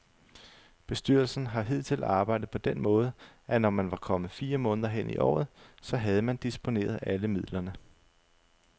Bestyrelsen har hidtil arbejdet på den måde, at når man var kommet fire måneder hen i året, så havde man disponeret alle midlerne.